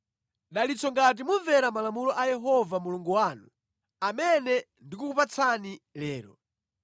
dalitso ngati mumvera malamulo a Yehova Mulungu wanu amene ndikukupatsani lero.